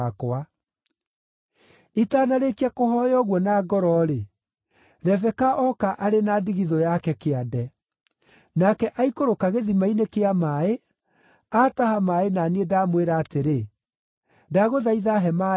“Itanarĩkia kũhooya ũguo na ngoro-rĩ, Rebeka oka arĩ na ndigithũ yake kĩande. Nake aikũrũka gĩthima-inĩ kĩa maaĩ, aataha maaĩ na niĩ ndamwĩra atĩrĩ, ‘Ndagũthaitha he maaĩ nyue.’